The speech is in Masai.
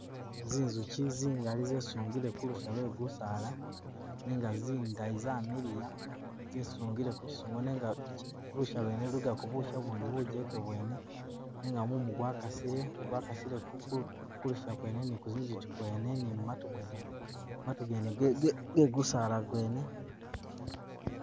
Zinzuki zingali zesungile khulusha khwebisaala nenga zingali zamiliya, zesungile kulusha, lusha luno lulikakho busha ubundi bujeke bwene nenga mumu gwakasile, gwakasile ku ku kulusha kwene ne ku zinzuki kwene ne mumatu mwene, matu gene ge ge ge gusaala gwene